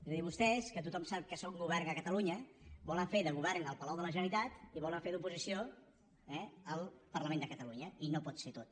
és a dir vostès que tothom sap que són govern a catalunya volen fer de govern al palau de la generalitat i volen fer d’oposició eh al parlament de catalunya i no pot ser tot